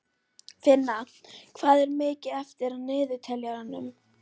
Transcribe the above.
Finna, hvað er mikið eftir af niðurteljaranum?